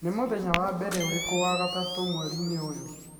Nĩ mũthenya wa mbere ũrĩkũ wa gatatũ mweriinĩ ũyũ?